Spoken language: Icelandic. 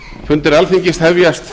fundir alþingis hefjast